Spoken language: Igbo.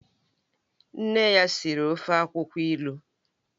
Nne ya siri ofe akwukwo ilu